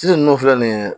Sisan nunnu filɛ nin ye